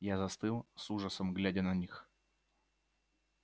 я застыл с ужасом глядя на них